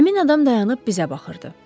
Həmin adam dayanıb bizə baxırdı.